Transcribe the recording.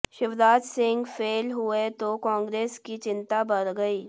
Shivraj Singh fail हुए तो कांग्रेस की चिंता बढ़ गई